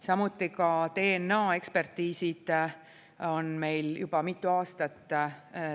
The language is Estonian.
Samuti DNA-ekspertiisid on meil juba mitu aastat.